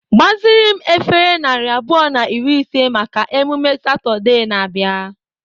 Gbaziri m efere narị abụọ na iri ise maka emume Satọde na-abịa.